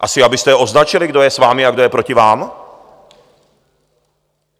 Asi abyste je označili, kdo je s vámi a kdo je proti vám?